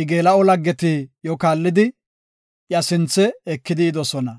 I geela7o laggeti iyo kaallidi, iya sinthe ekidi yidosona.